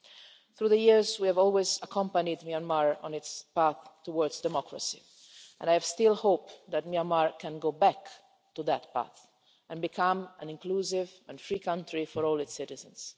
Throughout the years, we've always accompanied Myanmar on its path towards democracy and I still have hope that Myanmar can go back to that path and become an inclusive and free country for all its citizens.